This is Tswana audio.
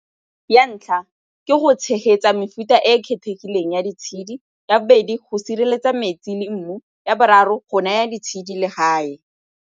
Ya ntlha, ke go tshegetsa mefuta e e kgethegileng ya ditshedi. Ya bobedi, go sireletsa metsi le mmu. Ya boraro, go naya ditshedi legae.